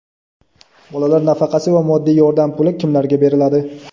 Bolalar nafaqasi va moddiy yordam puli kimlarga beriladi?.